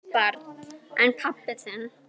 Barn: En pabbi þinn?